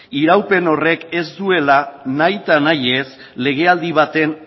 iraupen horrek ez duela nahita nahi ez legealdi baten